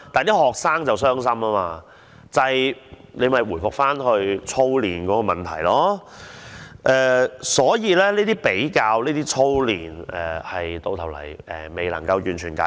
於是，這又回復到操練的問題，而這些比較和操練問題到頭來完全未有解決。